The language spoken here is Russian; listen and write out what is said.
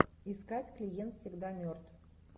искать клиент всегда мертв